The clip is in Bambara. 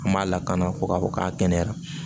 An m'a lakana fo k'a fɔ k'a kɛnɛyara